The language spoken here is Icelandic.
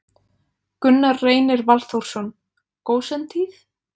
Gunnar Reynir Valþórsson: Gósentíð?